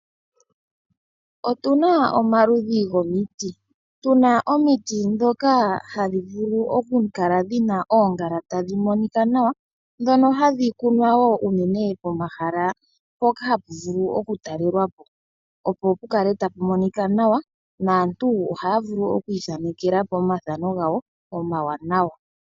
Otuna omaludhi gomiti, tuna omiti djoka hadhi vulu ku kala dhina oongala tadhi monika nawa, dhono hadhi kunwa wo unene pomahala mpokahapu vulu okutalelwapo, opo pu kale tapu monika nawa naantu ohaya vulu oku ithanekela po omathano gawo omawanawa.